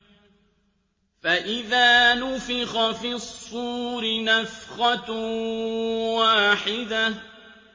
فَإِذَا نُفِخَ فِي الصُّورِ نَفْخَةٌ وَاحِدَةٌ